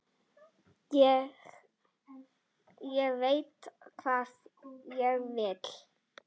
Ég veit hvað ég vil!